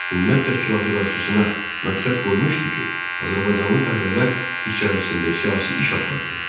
Hümmət təşkilatı qarşısına məqsəd qoymuşdu ki, azərbaycanlı fəhlələr içərisində siyasi iş aparsın.